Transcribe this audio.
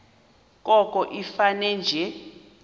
koko ifane nje